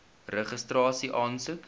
registrasieaansoek